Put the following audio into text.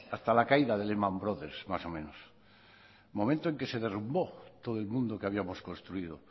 hasta la caída de lehman brothers más o menos momento en que se derrumbó todo el mundo que habíamos construido